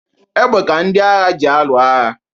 Egbe ka ndị agha ji alụ agha.